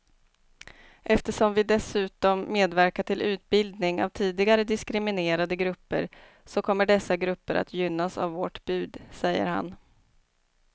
Eftersom vi dessutom medverkar till utbildning av tidigare diskriminerade grupper så kommer dessa grupper att gynnas av vårt bud, säger han.